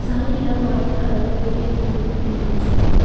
சைடுல ஒயிட் கலர்ல பெரிய பில்லு பில்டிங்ஸ் இருக்கு.